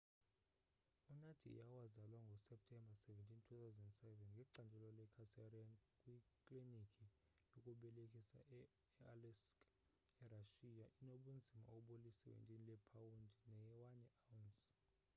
unadia owazalwa ngo-septemba 17 2007 ngecandelo le-cesarean kwiklinikhi yokubelekisa e-aleisk erashiya enobunzima obuli-17 leepawundi ne 1 awunsi